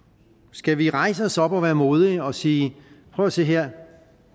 skal vi rejse os op og være modige og sige prøv at se her